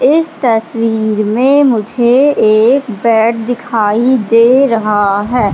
इस तस्वीर में मुझे एक बेड दिखाई दे रहा है।